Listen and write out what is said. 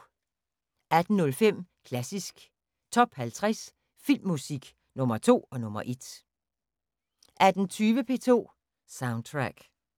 18:05: Klassisk Top 50 Filmmusik – Nr. 2 og nr. 1 18:20: P2 Soundtrack